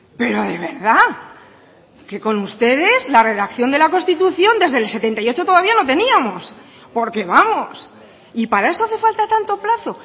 pero de verdad que con ustedes la redacción de la constitución desde el setenta y ocho todavía no teníamos porque vamos y para eso hace falta tanto plazo